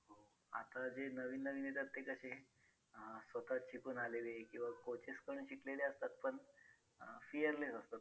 आता जे नवीन नवीन येतात ते कसे अं स्वतः शिकून आलेले किंवा coaches कडून शिकलेले असतात पण अं fearless असतात.